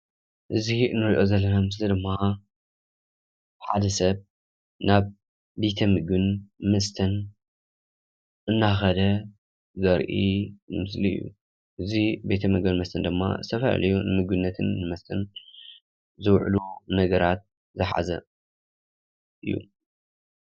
እዚ እንሪኦ ዘለና ምስሊ ድማ ሓደ ሰብ ናብ ቤተ-ምግብን መስተን እናኸደ ዘርኢ ምስሊ እዩ፡፡ እዚ ቤተ-ምግብን መስተን ድማ ዝተፈላለዩ ንምግብነትን ንመስተን ዝውዕሉ ነገራት ዝሓዘ እዩ፡፡